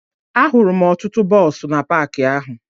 Ahụrụ m ọtụtụ bọọsụ na paakị ahụ